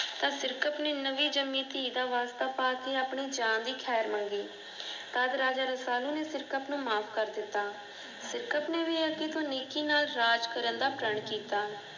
ਤਾਂ ਸਿਰਕਤ ਨੇ ਨਵੀਂ ਜਨਮੀ ਧੀ ਦਾ ਵਾਸਤਾ ਪਾ ਕੇ, ਆਪਨੀ ਜਾਨ ਦੀ ਖ਼ੈਰ ਮੰਗੀ। ਤਦ ਰਾਜਾ ਰਸਾਲੂ ਨੇ ਸਿਰਕਤ ਨੂੰ ਮਾਫ ਕਰ ਦਿੱਤਾ। ਸਿਰਕਤ ਨੇ ਭੀ ਅੱਗੇ ਤੋਂ ਨੇਕੀ ਨਾਲ ਰਾਜ ਕਰਨ ਦਾ ਪ੍ਰਣ ਕੀਤਾ।